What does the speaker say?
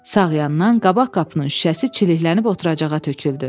Sağ yandan qabaq qapının şüşəsi çiliklənib oturacağa töküldü.